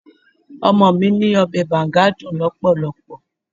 Ọmọ mi ní Ọbẹ̀ Banga dùn lọpọlọpọ.